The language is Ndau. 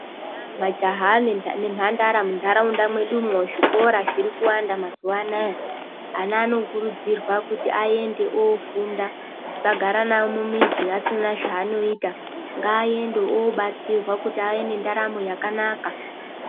Eya majaha nembandara mundaraunda mwedu umwo zvikora zvirikuwanda mazuvaano aya ana anokurudzirwa kuti aende ofunda tisagara nawo mumizi asina zvanoita ngaende obatsirwa kuti ave nendaramo yakanaka.